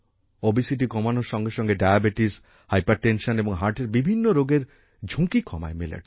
obesity কমানোর সঙ্গে সঙ্গে ডায়াবেটিস হাইপারটেনশন এবং হার্টের বিভিন্ন রোগের ঝুঁকি কমায় মিলেটস